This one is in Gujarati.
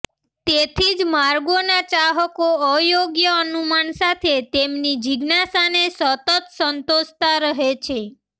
તેથી જ માર્ગોના ચાહકો અયોગ્ય અનુમાન સાથે તેમની જિજ્ઞાસાને સતત સંતોષતા રહે છે